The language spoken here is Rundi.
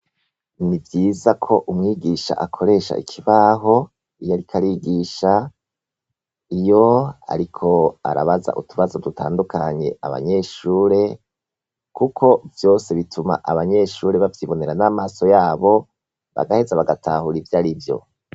N'ivyiza ko umwigisha akoresha ikibaho iyariko arigisha, iyo ariko arababaza utubazo dutandukanye abanyeshure, kuko vyose bituma abanyeshure bavyibonera n'amaso yabo, bagaheza bagatahura ivyarivyo.